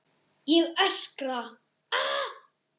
Ég öskra.